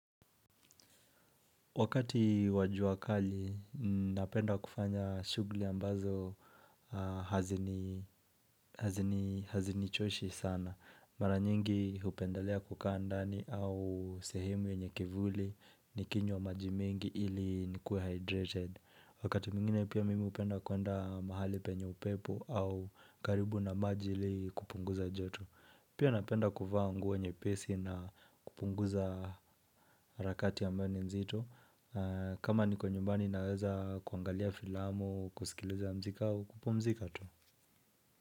Wakati wa jua kali, ninapenda kufanya shughli ambazo hazinichoshi sana. Mara nyingi hupendalea kukaa ndani au sehemu yenye kivuli nikinywa maji mingi ili nikuwe hydrated. Wakati mwingine, pia mimi hupenda kwenda mahali penye upepo au karibu na maji ili kupunguza joto. Pia napenda kuvaa nguo nyepesi na kupunguza rakati ambayo ni mzito. Kama niko nyumbani naweza kuangalia filamu, kusikiliza mziki au, kupumzika tu.